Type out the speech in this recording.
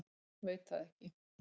Veit það ekki.